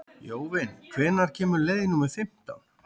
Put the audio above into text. Jóvin, hvenær kemur leið númer fimmtán?